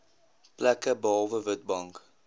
plekke behalwe witbank